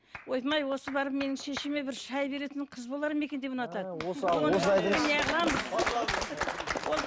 ойпырым ай осы барып менің шешеме бір шай беретін қыз болар ма екен деп ұнатады